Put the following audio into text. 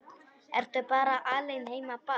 Ertu bara alein heima barn?